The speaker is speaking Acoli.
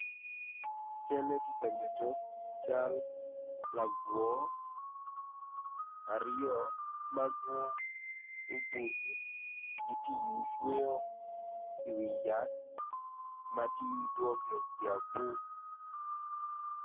Calle tye ka dano aryo ma gitye ka wot i yo bene gumako jami moni i cingi nen calo gityo kwede me kwan i pii onyo me wot i wi pii.